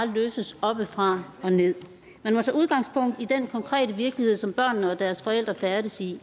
løses oppefra og nederst man må tage udgangspunkt i den konkrete virkelighed som børnene og deres forældre færdes i